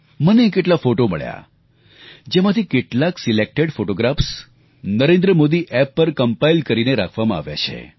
મને કેટલાય ફોટો મળ્યા જેમાંથી કેટલાક પસંદ કરાયેલા નરેન્દ્ર મોદી એપ પર એકત્રિત કરીને રાખવામાં આવ્યા છે